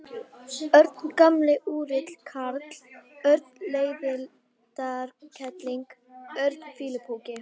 Örn gamli úrilli karl, Örn leiðindakerling, Örn fýlupoki.